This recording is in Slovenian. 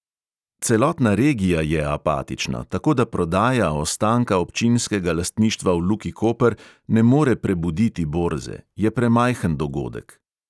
Celotna regija je apatična, tako da prodaja ostanka občinskega lastništva v luki koper ne more prebuditi borze, je premajhen dogodek.